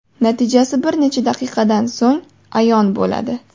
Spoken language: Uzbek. Natijasi bir necha daqiqadan so‘ng ayon bo‘ladi.